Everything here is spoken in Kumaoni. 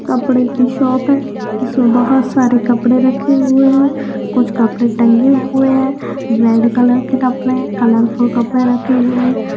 कपड़े की शॉप इसमे बहोत सारे कपड़े रखे हुए हैं कुछ कपड़े टंगे हुए हैं रेड कलर के कपड़े कलर्फल कपड़े रखे हुए हैं।